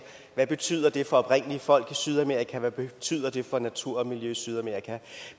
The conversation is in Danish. hvad betyder det for oprindelige folk i sydamerika hvad betyder det for natur og miljø i sydamerika